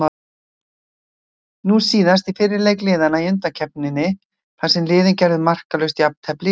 Nú síðast í fyrri leik liðanna í undankeppninni þar sem liðin gerðu markalaust jafntefli ytra.